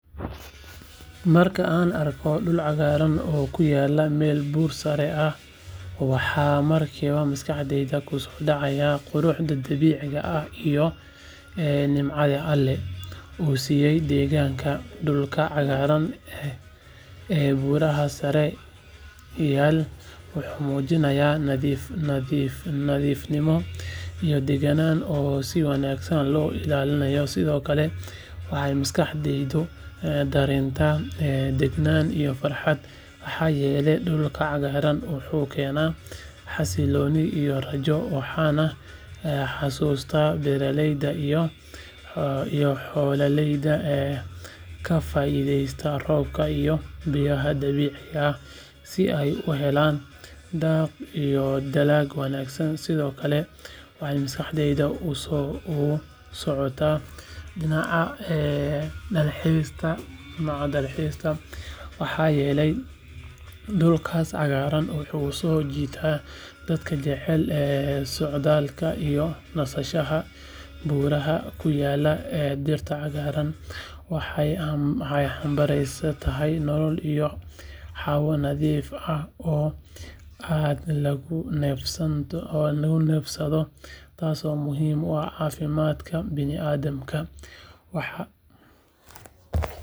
Marka aan arko dhul cagaaran oo ku yaalla meel buur sare ah waxa markiiba maskaxdayda ku soo dhacaya quruxda dabiiciga ah iyo nimcada Alle uu siiyay deegaankaas dhulka cagaarka ah ee buuraha sare yaal wuxuu muujinayaa nadiifnimo iyo deegaanka oo si wanaagsan loo ilaaliyo sidoo kale waxay maskaxdaydu dareentaa deganaan iyo farxad maxaa yeelay dhulka cagaaran wuxuu keenaa xasillooni iyo rajo waxaan xasuustaa beeraleyda iyo xoolaleyda ka faa’iideysta roobka iyo biyaha dabiiciga ah si ay u helaan daaq iyo dalag wanaagsan sidoo kale waxay maskaxdayda u socotaa dhinaca dalxiiska maxaa yeelay dhulkaas cagaaran wuxuu soo jiitaa dadka jecel socdaalka iyo nasashada buuraha ku yaalla dhirtaas cagaaran waxay xambaarsan tahay nolol iyo hawo nadiif ah oo aad lagu neefsado taasoo muhiim u ah caafimaadka bini’aadamka.